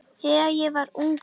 Þegar ég var ungur.